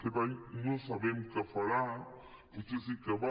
aquest any no sabem què farà potser sí que hi va